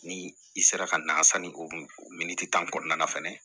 Ni i sera ka na sanni o min di ta kɔnɔna na fɛnɛ